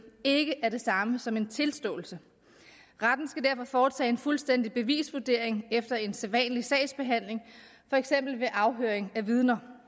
ikke er det samme som en tilståelse retten skal derfor foretage en fuldstændig bevisvurdering efter en sædvanlig sagsbehandling for eksempel ved afhøring af vidner